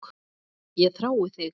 Ég þrái þig.